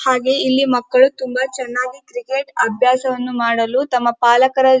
ಹಾಗೆ ಇಲ್ಲಿ ಮಕ್ಕಳು ತುಂಬಾ ಚೆನ್ನಾಗಿ ಕ್ರಿಕೆಟ್ ಅಭ್ಯಾಸವನ್ನು ಮಾಡಲು ತಮ್ಮ ಪಾಲಕರ --